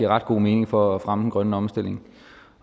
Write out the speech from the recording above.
ret god mening for at fremme den grønne omstilling